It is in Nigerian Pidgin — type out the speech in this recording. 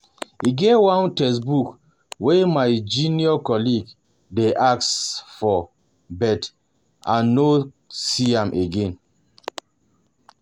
E get one textbook wey my um junior colleague dey ask for but I um no um see am again